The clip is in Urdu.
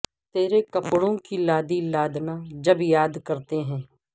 ترے کپڑوں کی لادی لادنا جب یاد کرتے ہیں